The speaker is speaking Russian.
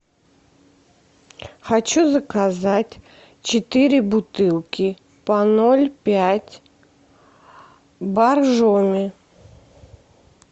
хочу заказать четыре бутылки по ноль пять боржоми